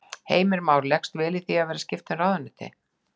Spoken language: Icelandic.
Heimir Már: Leggst vel í þig að vera skipta um ráðuneyti?